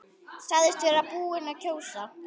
Sagðist vera búinn að kjósa.